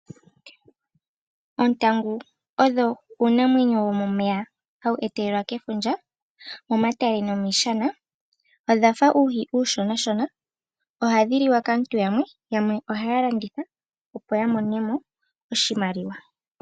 Oontangu odho uunamwenyo womomeya hawu etelelwa kefundja momatale nomiishana. Odhafa oohi ooshonashona ohadhi liwa kaantu yamwe, yamwe ohaya landitha opo ya mone mo oshimaliwa.